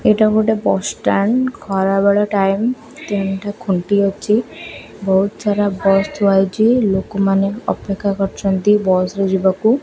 ଏଇଟା ଗୋଟେ bus stand ଖରାବେଳ ଟାଇମ୍ ତିନ୍ଟା ଖୁଣ୍ଟି ଅଛି ବହୁତ୍ ଛାରା ବସ ଥୁଆ ହୋଇଛି। ଲୋକମାନେ ଅପେକ୍ଷା କରିଚନ୍ତି ବସ ରେ ଯିବାକୁ।